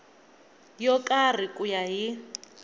yo karhi ku ya hi